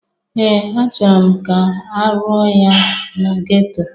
Ee! Achọrọ m ka arụọ ya na geto.